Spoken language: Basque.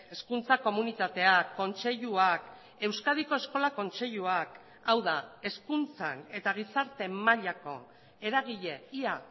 hezkuntza komunitateak kontseiluak euskadiko eskola kontseiluak hau da hezkuntzan eta gizarte mailako eragile ia